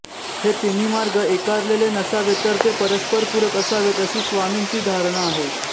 हे तिन्ही मार्ग एकारलेले नसावेत तर ते परस्परपूरक असावेत अशी स्वामींची धारणा आहे